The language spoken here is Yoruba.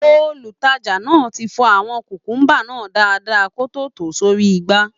Olùtajà náà ti fọ àwọn kùkùḿbà náà dáadáa kó tó tò ó sórí igbá